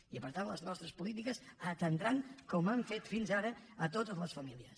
i per tant les nostres polítiques atendran com han fet fins ara totes les famílies